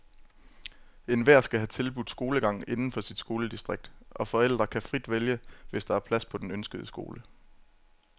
Enhver skal have tilbudt skolegang inden for sit skoledistrikt, og forældre kan vælge frit, hvis der er plads på den ønskede skole.